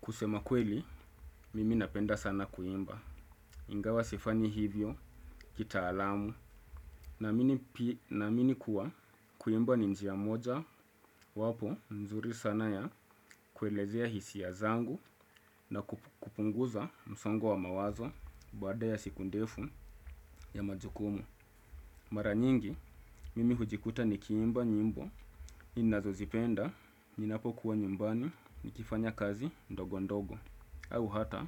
Kusema kweli mimi napenda sana kuimba ingawa sifanyi hivyo kitaalamu naamini kuwa kuimba ni njia moja wapo mzuri sana ya kuelezea hisia zangu na kupunguza msongo wa mawazo baada ya siku ndefu ya majukumu. Mara nyingi mimi hujikuta nikiimba nyimbo ninazozipenda ninapo kuwa nyumbani nikifanya kazi ndogo ndogo au hata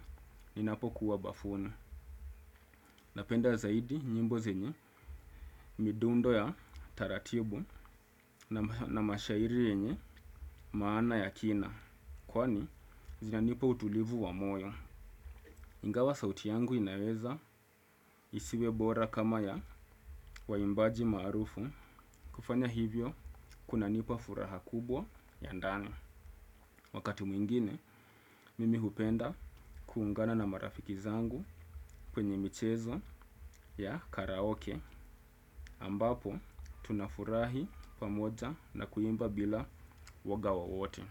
ninapokuwa bafuni. Napenda zaidi nyimbo zenye midundo ya taratibu na mashairi yenye maana ya kina kwani zinanipa utulivu wa moyo. Ingawa sauti yangu inaweza isiwe bora kama ya waimbaji maarufu kufanya hivyo kunanipa furaha kubwa ya ndani. Wakati mwingine mimi hupenda kuungana na marafiki zangu kwenye michezo ya karaoke ambapo tunafurahi pamoja na kuimba bila uoga wowote.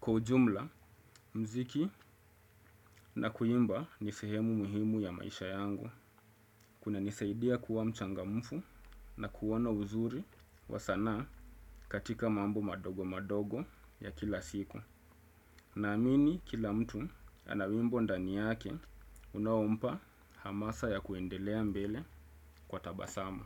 Kwa ujumla mziki na kuimba ni sehemu muhimu ya maisha yangu. Kuna nisaidia kuwa mchangamufu na kuona uzuri wa sanaa katika mambo madogo madogo ya kila siku. Naamini kila mtu ana wimbo ndani yake unao mpa hamasa ya kuendelea mbele kwa tabasamu.